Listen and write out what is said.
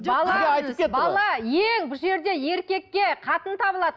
ең бұл жерде еркекке қатын табылады